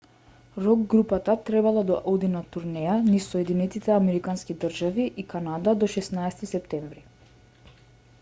рок групата требало да оди на турнеја низ соединетите американски држави и канада до 16-ти септември